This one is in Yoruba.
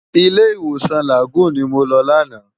Ilé Iwósan Lágúùn ni mó lò làná